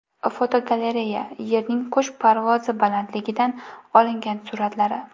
Fotogalereya: Yerning qush parvozi balandligidan olingan suratlari.